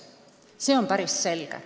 See on päris selge.